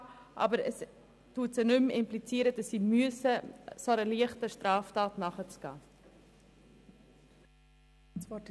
Es wird aber im Gesetz nicht impliziert, dass sie solchen leichten Straftaten nachgehen muss.